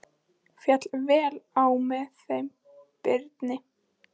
Féll vel á með þeim Birni.